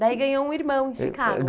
Daí ganhou um irmão em Chicago.